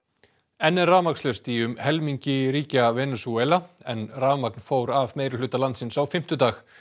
enn er rafmagnslaust í um helmingi ríkja Venesúela að rafmagn fór af meirihluta landsins á fimmtudag